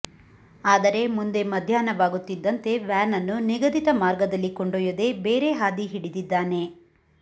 ಆದರೆ ಮುಂದೆ ಮಧ್ಯಾಹ್ನವಾಗುತ್ತಿದ್ದಂತೆ ವ್ಯಾನನ್ನು ನಿಗದಿತ ಮಾರ್ಗದಲ್ಲಿ ಕೊಂಡೊಯ್ಯದೆ ಬೇರೆ ಹಾದಿ ಹಿಡಿದಿದ್ದಾನೆ